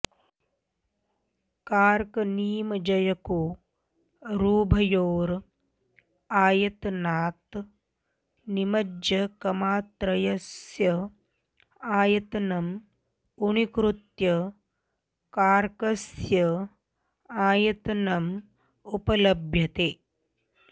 कार्कनिमजकयोरुभयोर् आयतनात् निमज्जकमात्रस्य आयतनम् ऊनीकृत्य कार्कस्य आयतनम् उपलभ्यते